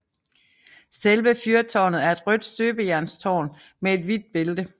Selve fyrtårnet er et rødt støbejernstårn med et hvidt bælte